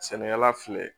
Sɛnɛkɛla filɛ